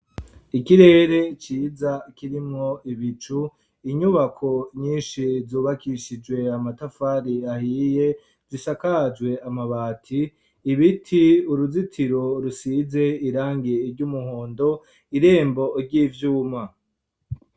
Ikirere ciza, kirimwo ibicu, inyubako nyinshi, zubakishijwe amatafari, ahiye, zisakajwe amabati; ibiti, uruzitiro rusize irangi ry'umuhondo, irembo ry'ivyuma.